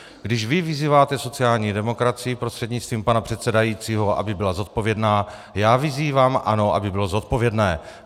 Když vy vyzýváte sociální demokracii, prostřednictvím pana předsedajícího, aby byla zodpovědná, já vyzývám ANO, aby bylo zodpovědné.